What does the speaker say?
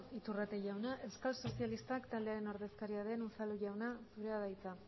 iturrate jauna euskal sozialistak taldearen ordezkaria den unzalu jauna zurea da hitza